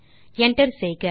Enter செய்க